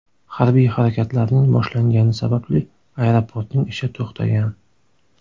Harbiy harakatlarning boshlangani sababli aeroportning ishi to‘xtagan.